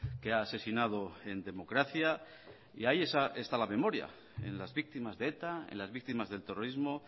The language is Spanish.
que ha asesinado en democracia y ahí está la memoria en las víctimas de eta en las víctimas del terrorismo